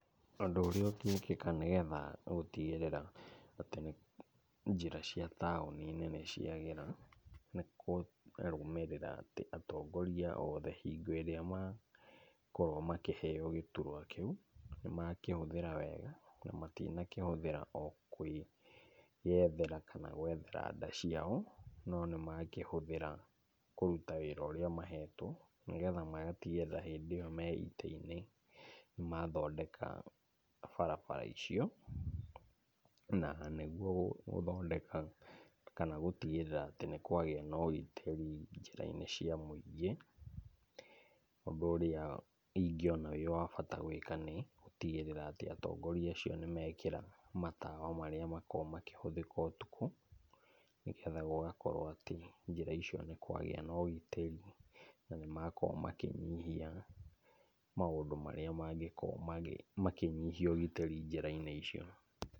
Ũndũ ũrĩa ũngĩkĩka nĩgetha gũtigĩrĩra atĩ njĩra caia taũni-inĩ nĩciagĩra nĩkũrũmĩrĩra atĩ atongoria othe, hingo ĩrĩa makorwo makĩheo gĩturwa kĩu nĩmakĩhũthĩra wega na matinakĩhũthĩra o kwĩyethera kana gwethera nda ciao, no nĩmakĩhũthĩra kũruta wĩra ũrĩa mahetwo, nĩgetha magatigĩrĩra hĩndĩ ĩyo me itĩ-inĩ nĩmathondeka barabara icio, na nĩguo gũthondeka kana gũtigĩrĩra atĩ nĩ kwagĩa na ũgitĩri njĩra-inĩ cia mũingĩ, ũndũ ũrĩa ingĩona wĩ wa bata gwĩka nĩ gũtigĩrĩra atĩ atongoria acio nĩmekĩra matawa marĩa makoragwo makĩhũthĩka ũtukũ, nĩgetha gũgakorwo atĩ njĩra icio nĩ kwagĩa na ũgitĩri na nĩmakorwo makĩnyihia maũndũ marĩa mangĩkorwo makĩnyihia ũgitĩri njĩra-inĩ icio.